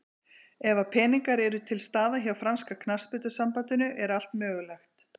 Ef að peningar eru til staðar hjá franska knattspyrnusambandinu er allt mögulegt.